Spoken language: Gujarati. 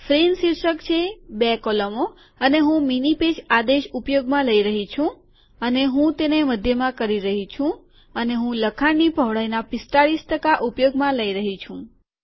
ફ્રેમ શીર્ષક છે બે કોલમો અને હું મીની પેજ આદેશ ઉપયોગમાં લઇ રહ્યો છું અને હું તેને મધ્યમાં કરી રહ્યો છું અને હું લખાણની પહોળાઇના ૪૫ ટકા ઉપયોગમાં લઇ રહ્યો છું